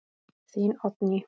Þín Oddný.